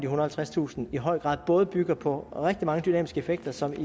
og halvtredstusind i høj grad både bygger på rigtig mange dynamiske effekter som